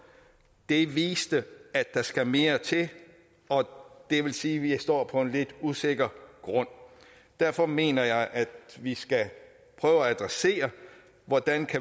det viste at der skal mere til og det vil sige at vi står på en lidt usikker grund derfor mener jeg at vi skal prøve at adressere hvordan